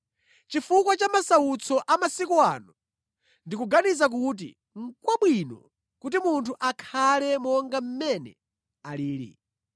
Chifukwa cha masautso a masiku ano, ndikuganiza kuti nʼkwabwino kuti munthu akhale monga mmene alili.